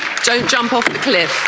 Don't jump off the cliff.